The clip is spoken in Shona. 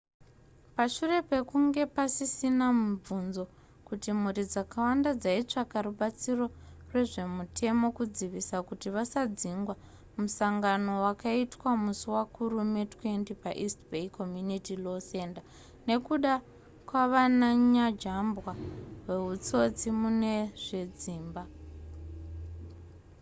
pashure pekunge pasisina mubvunzo kuti mhuri dzakawanda dzaitsvaka rubatsiro rwezvemutemo kudzivisa kuti vasadzingwa musangano wakaitwa musi wakurume 20 paeast bay community law center nekuda kwavananyajambwa wehutsotsi mune zvedzimba